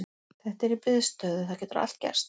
Þetta er í biðstöðu, það getur allt gerst.